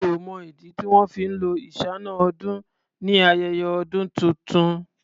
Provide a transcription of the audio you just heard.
Mi ò mọ̀ ìdí tí wọn fí ń lo iṣáná-ọdún ni ayẹyẹ ọdún tuntun.